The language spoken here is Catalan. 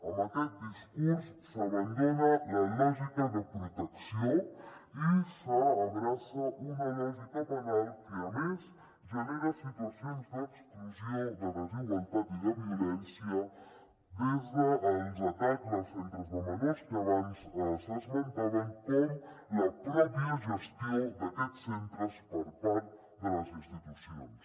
amb aquest discurs s’abandona la lògica de protecció i s’abraça una lògica penal que a més genera situacions d’exclusió de desigualtat i de violència des dels atacs als centres de menors que abans s’esmentaven com la gestió mateixa d’aquests centres per part de les institucions